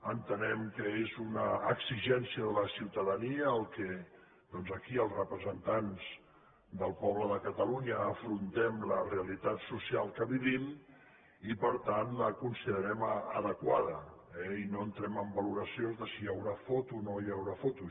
entenem que és una exigència de la ciutadania el fet que doncs aquí els representants del poble de catalunya afrontem la realitat social que vivim i per tant la considerem adequada i no entrem en valoracions de si hi haurà foto o no hi haurà foto